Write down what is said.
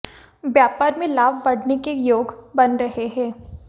व्यापार में लाभ बढ़ने के योग बन रहे हैं